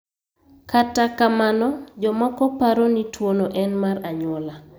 Kata kamano, jomoko paro ni tuwono en mar anyuola.